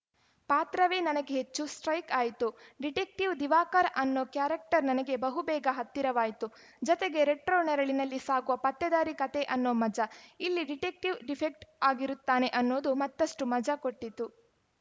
ಪಾತ್ರವೇ ನನಗೆ ಹೆಚ್ಚು ಸ್ಟ್ರೈಕ್ ಆಯಿತು ಡಿಟೆಕ್ಟಿವ್‌ ದಿವಾಕರ ಅನ್ನೋ ಕ್ಯಾರೆಕ್ಟರ್‌ ನನಗೆ ಬಹು ಬೇಗ ಹತ್ತಿರವಾಯಿತು ಜತೆಗೆ ರೆಟ್ರೋ ನೆರಳಿನಲ್ಲಿ ಸಾಗುವ ಪತ್ತೇದಾರಿ ಕತೆ ಅನ್ನೋ ಮಜಾ ಇಲ್ಲಿ ಡಿಟೆಕ್ಟಿವ್‌ ಡಿಫೆಕ್ಟ್ ಆಗಿರುತ್ತಾನೆ ಅನ್ನೋದು ಮತ್ತಷ್ಟು ಮಜಾ ಕೊಟ್ಟಿತು